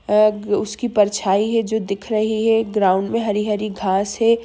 औग उसकी परछाईं जो दिख रही है ग्राउंड में हरी-हरी घास है।